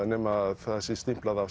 nema það sé stimplað af